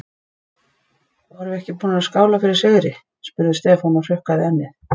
Vorum við ekki búnir að skála fyrir sigri? spurði Stefán og hrukkaði ennið.